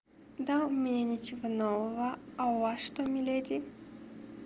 да у меня ничего нового а у вас что миледи